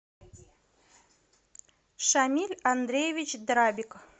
шамиль андреевич драбик